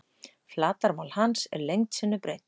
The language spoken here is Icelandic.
Flatarmál hans er lengd sinnum breidd.